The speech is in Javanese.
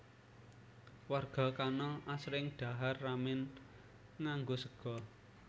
Warga kana asring dhahar ramen nganggo sega